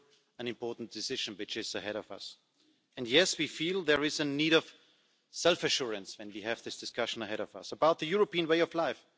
An important decision lies ahead of us and, yes, we feel a need for self assurance, when we have this discussion ahead of us, about the European way of life.